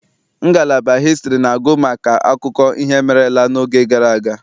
Ngalaba hịstrị na-agụ maka akụkọ ihe merela n'oge gara aga.